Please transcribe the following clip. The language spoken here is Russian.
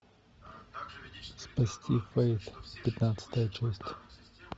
спасти фейт пятнадцатая часть